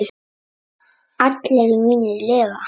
Allir mínir lifa.